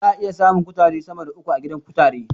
Za'a iya samun kutare Dama da uku a gidan kutare